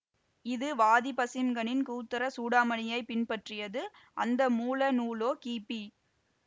இது வாதீபசிம்ஹனின் க்ஷத்ர சூடாமணியைப் பின்பற்றியது அந்த மூல நூலோ கிபி